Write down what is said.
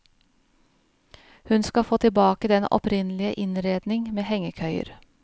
Hun skal få tilbake den opprinnelige innredning med hengekøyer.